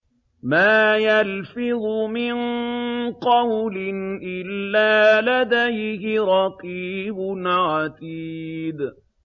مَّا يَلْفِظُ مِن قَوْلٍ إِلَّا لَدَيْهِ رَقِيبٌ عَتِيدٌ